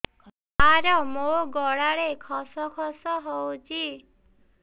ସାର ମୋ ଗଳାରେ ଖସ ଖସ ହଉଚି